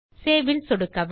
Saveல் சொடுக்கவும்